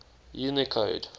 unicode